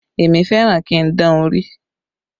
Èmi fẹ́ràn kí n dán orí